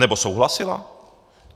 Anebo souhlasila?